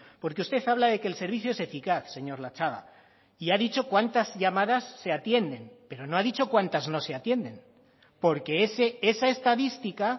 porque usted habla de que el servicio es eficaz señor latxaga y ha dicho cuántas llamadas se atienden pero no ha dicho cuántas no se atienden porque esa estadística